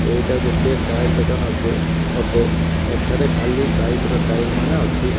ଏଇଟା ଗୋଟିଏ ଟାୟାର ଦୋକାନ ଅଛେ ଗୋଟେ ଏଠାରେ ଖାଲି ବାଇକ୍ ର ଟାୟାର ମାନେ ଅଛି।